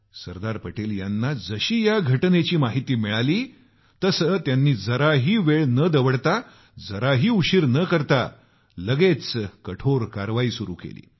सरदार पटेल यांना जशी या घटनेची माहिती मिळालीत्यांनी जराही वेळ न दवडता जराही उशीर न करता लगेच कठोर कारवाई सुरू केली